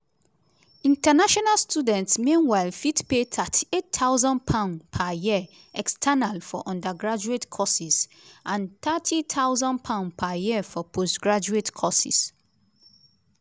international students meanwhile fit pay £38000 per year external for undergraduate courses and £30000 per year for postgraduate courses.